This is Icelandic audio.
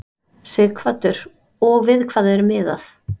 Sighvatur: Og við hvað er miðað?